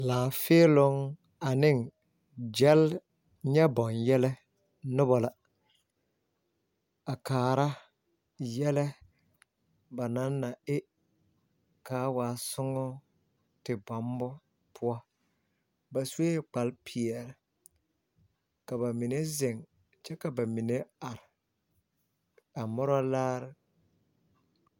Laafeɛloŋ ane gyɛl nyɛ boŋyɛllɛ noba la a kaara yɛllɛ banaŋ na e kaataa sommo la. Ba zaa su la kparepeɛle. Ba mine ziŋɛɛ la kyɛ ka bamine are a mɔrɔlaare.